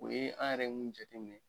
O ye an yɛrɛ mun jateminɛ